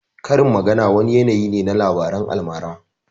Karin magana wani yanayi ne na labaran almara